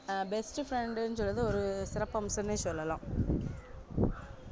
அஹ் best friend னு சொல்றது ஒரு சிறப்பு அம்சம்னே சொல்லலாம்